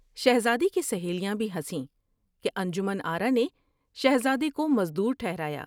شہزادی کی سہیلیاں بھی ہنسیں کہ انجمن آرا نے شہزادے کو مزدور ٹھہرایا ۔